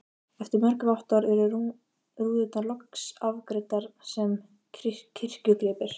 Eftir mörg vottorð eru rúðurnar loks afgreiddar sem kirkjugripir.